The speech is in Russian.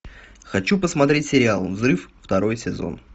хочу посмотреть сериал взрыв второй сезон